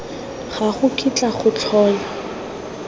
ga go kitla go tlhola